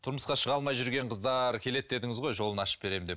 тұрмысқа шыға алмай жүрген қыздар келеді дедіңіз ғой жолын ашып беремін деп